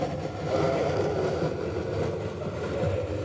Ma ne igole ringre japuonj Abigael.